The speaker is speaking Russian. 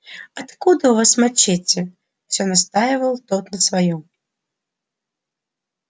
откуда у вас мачете все настаивал тот на своём